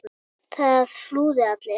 Það flúðu allir.